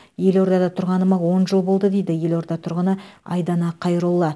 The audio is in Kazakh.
елордада тұрғаныма он жыл болды дейді елорда тұрғыны айдана қайролла